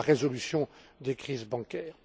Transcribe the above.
résolution des crises bancaires.